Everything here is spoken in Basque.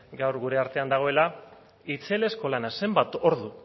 gaur gure artean dagoela itzelezko lana zenbat ordu